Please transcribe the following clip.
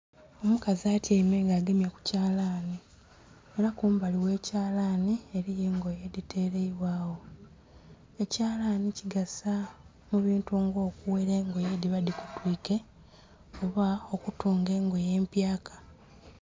Omukazi atyaime nga agemye ku kyalani. Ela kumbali gh'ekyalani eliyo engoye edhiteleibwagho. Ekyalani kigasa ebintu nga okughela engoye edhiba dhikutwike oba okutunga engoye empyaka.